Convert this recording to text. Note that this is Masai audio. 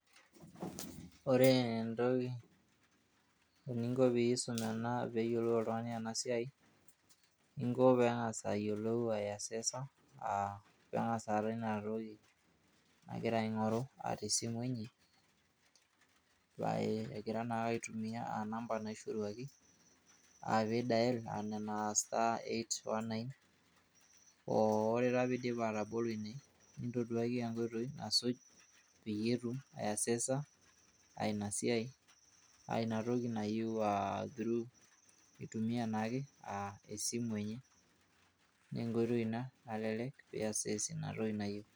ore entoki eninko ena peyiolou oltungani ena siai inko pengas ayiolou asesa. pengas aata inatoki nagira aingoru tesimu enye , egira naake aitumia namba naishoruaki a dial[cs ina*819 oo ore taa pidip atabolo ine nitoduaki inkoitoi asuj